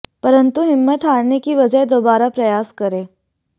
परंतु हिम्मत हारने की बजाय दोबारा प्रयास करें